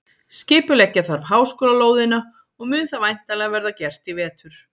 Skipuleggja þarf háskólalóðina og mun það væntanlega verða gert í vetur.